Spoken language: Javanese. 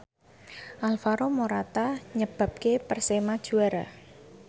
Alvaro Morata nyebabke Persema juara